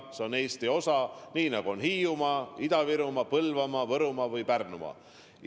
See on Eesti osa, nii nagu on ka Hiiumaa, Lääne-Virumaa, Põlvamaa, Võrumaa ja Pärnumaa.